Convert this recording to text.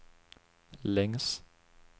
längs